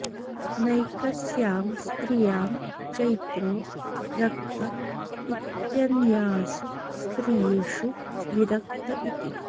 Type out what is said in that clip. नैकस्यां स्त्रियां चैत्रो रक्त इत्यन्यासु स्त्रीषु विरक्त इति